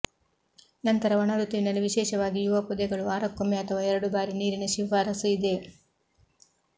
ನಂತರ ಒಣ ಋತುವಿನಲ್ಲಿ ವಿಶೇಷವಾಗಿ ಯುವ ಪೊದೆಗಳು ವಾರಕ್ಕೊಮ್ಮೆ ಅಥವಾ ಎರಡು ಬಾರಿ ನೀರಿನ ಶಿಫಾರಸು ಇದೆ